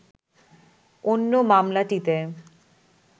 অন্য মামলাটিতে